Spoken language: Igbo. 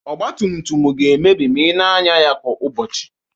Ọgba tum tum ga-emebi ma ị na-anya ya kwa ụbọchị.